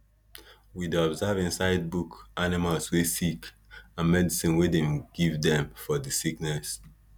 we dey observe inside book animals wey sick and medicine wey dem give dem for di sickness